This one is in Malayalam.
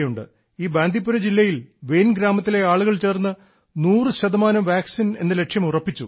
ഈ ബാന്ദീപുര ജില്ലയിൽ വെയൻ ഗ്രാമത്തിലെ ആളുകൾ ചേർന്ന് 100 ശതമാനം വാക്സിൻ എന്ന ലക്ഷ്യം ഉറപ്പിച്ചു